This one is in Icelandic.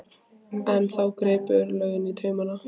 En þá gripu örlögin í taumana.